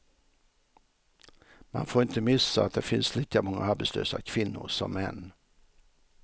Man får inte missa att det finns lika många arbetslösa kvinnor som män.